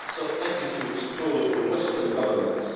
complex of attitudes toward the Western governments...